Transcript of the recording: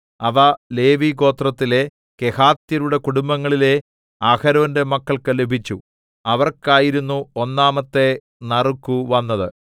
അവ ലേവിഗോത്രത്തിലെ കെഹാത്യരുടെ കുടുംബങ്ങളിലെ അഹരോന്റെ മക്കൾക്കു ലഭിച്ചു അവർക്കായിരുന്നു ഒന്നാമത്തെ നറുക്കു വന്നത്